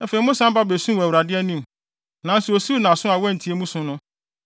Afei, mosan ba besuu wɔ Awurade anim, nanso osiw nʼaso a wantie mo su no.